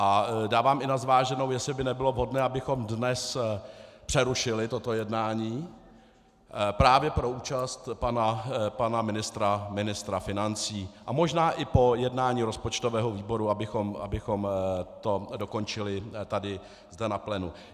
A dávám i na zváženou, jestli by nebylo vhodné, abychom dnes přerušili toto jednání právě pro účast pana ministra financí a možná i po jednání rozpočtového výboru abychom to dokončili tady zde na plénu.